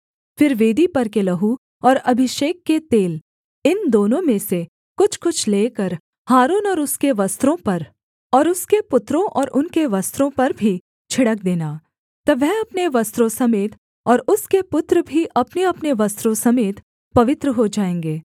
फिर वेदी पर के लहू और अभिषेक के तेल इन दोनों में से कुछ कुछ लेकर हारून और उसके वस्त्रों पर और उसके पुत्रों और उनके वस्त्रों पर भी छिड़क देना तब वह अपने वस्त्रों समेत और उसके पुत्र भी अपनेअपने वस्त्रों समेत पवित्र हो जाएँगे